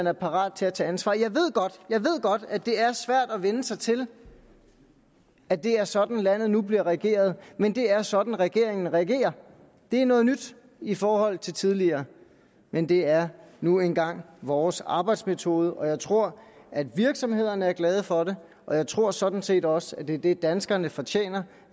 er parat til at tage ansvar jeg ved godt at det er svært at vænne sig til at det er sådan landet nu bliver regeret men det er sådan regeringen regerer det er noget nyt i forhold til tidligere men det er nu engang vores arbejdsmetode og jeg tror at virksomhederne er glade for det og jeg tror sådan set også at det er det danskerne fortjener